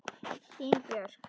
Þín Björk.